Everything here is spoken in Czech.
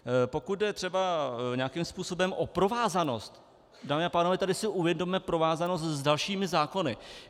Pokud jde třeba nějakým způsobem o provázanost, dámy a pánové, tady si uvědomme provázanost s dalšími zákony.